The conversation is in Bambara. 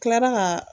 Tilara ka